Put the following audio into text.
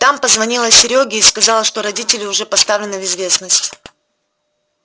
там позвонила серёге и сказала что родители уже поставлены в известность